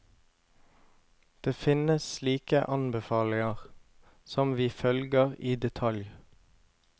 Det finnes slike anbefalinger, som vi følger i detalj.